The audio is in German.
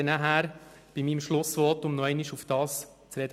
Darauf komme in meinem Schlussvotum noch einmal zu sprechen.